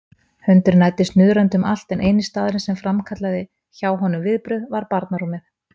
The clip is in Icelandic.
Hundurinn æddi snuðrandi um allt en eini staðurinn sem framkallaði hjá honum viðbrögð var barnarúmið.